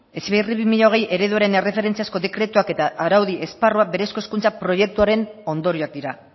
heziberri bi mila hogei ereduaren erreferentziazko dekretuak eta araudi esparruak berezko hezkuntza proiekturen ondorioak dira